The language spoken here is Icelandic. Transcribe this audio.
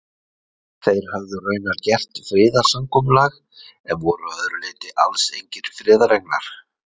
Þeir höfðu raunar gert friðarsamkomulag, en voru að öðru leyti alls engir friðarenglar.